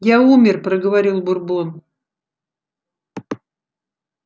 я умер проговорил бурбон